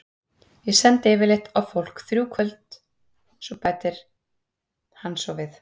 Ég sendi yfirleitt á fólk í þrjú kvöld, bætir hann svo við.